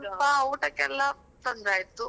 ಹಾಗೆ ಸ್ವಲ್ಪ ಊಟ ಕೆಲ್ಲ ತೊಂದ್ರೆ ಆಯ್ತು.